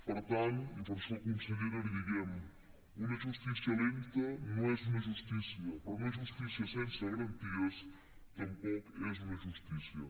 per tant i per això consellera li diem una justícia lenta no és una justícia però una justícia sense garanties tampoc és una justícia